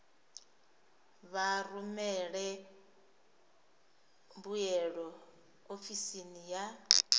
vha rumele mbuyelo ofisini ya